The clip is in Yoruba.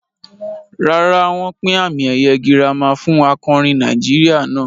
Rárá, wọ́n pín àmì ẹ̀yẹ gírámì fún akọrin Nàìjíríà náà.